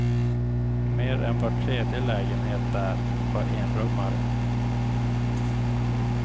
Mer än var tredje lägenhet där var enrummare.